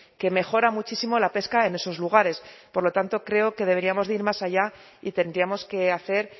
que mejora muchísimo la pesca en esos lugares por lo tanto creo que deberíamos de ir más allá y tendríamos que hacer